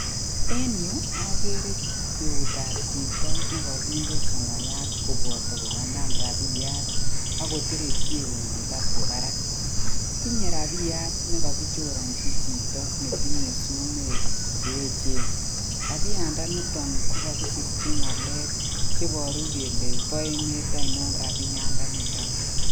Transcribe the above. En yu agere eutabchito nekaginde sonoyat koboto koganan rapiyatak koterekyi eunyin laptop barak. Tinye rabiyat nekagichoranchi chito netinye sumek cheechen. Rapiyatnda niton ko kagisirchi ngalek chebaru kele bo emet ainon rapiyatnda niton.